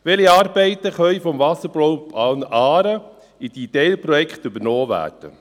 Welche Arbeiten des Wasserbauplans Aare können in die Teilprojekte übernommen werden?